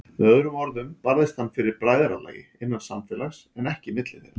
Með öðrum orðum barðist hann fyrir bræðralagi, innan samfélags, en ekki milli þeirra.